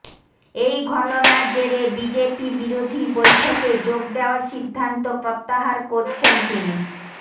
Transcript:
এই ঘটনার জেরে বিজেপি বিরোধী বৈঠকে যোগ দেওয়ার সিদ্ধান্ত প্রত্যাহার করছেন তিনি